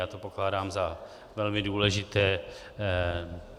Já to pokládám za velmi důležité.